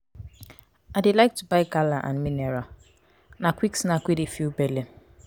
i dey like to buy gala and mineral na quick snack wey dey fill belle